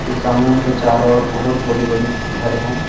इस आंगन के चारों ओर बहोत बड़ी बड़ी घर है।